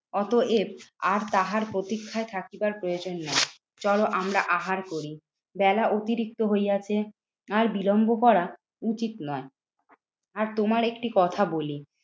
অতএব আর তাহার প্রতীক্ষায় থাকিবার প্রয়োজন নাই। চলো আমরা আহার করি। বেলা অতিরিক্ত হইয়াছে, আর বিলম্ব করা উচিত নয়। আর তোমার একটি কথা বলি,